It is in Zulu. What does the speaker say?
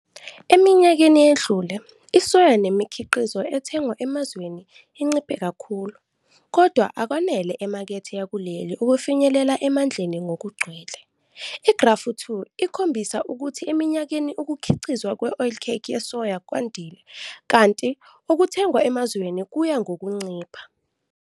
Eminyakeni edlule, isoya nemikhiqizo ethengwa emazweni inciphe kakhulu, kodwa akwanele emakethe yakuleli ukufinyelela emandleni ngokugcwele. Igrafu 2 ikhombisa ukuthi eminyakeni ukukhiqizwa kwe-oilcake yesoya kwandile kanti okuthengwa emazweni kuya ngokuncipha.